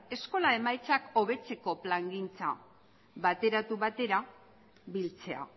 eskola emaitzak hobetzeko plangintza bateratu batera biltzea